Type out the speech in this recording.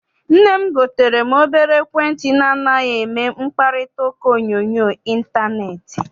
Nne m gotere m obere ekwentị na anaghị eme mkparitauka onyoonyo intaneeti.